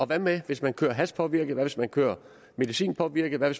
hvad med hvis man kører hashpåvirket hvad med hvis man kører medicinpåvirket hvad